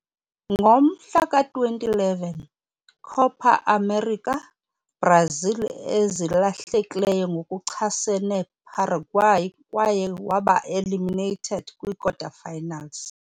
Ngomhla ka-2011 Copa América, Brazil ezilahlekileyo ngokuchasene Paraguay kwaye waba eliminated kwikota-finals.